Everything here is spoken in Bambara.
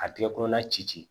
A tigɛkɔrɔla ci